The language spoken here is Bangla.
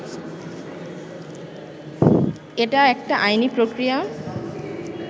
এটা একটা আইনি প্রক্রিয়া